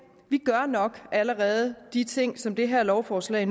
gør nok allerede de ting som det her lovforslag